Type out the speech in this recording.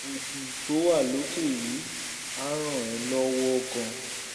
oògùn tó wà lókè yìí á ràn ẹ́ lọ́wọ́ gan-an